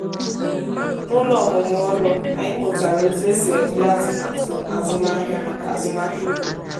n'ụlọ ọmụmụ ọrụ anyị mụtara otu esi ede atụmatụ azụmahịa maka azụmahịa ugbo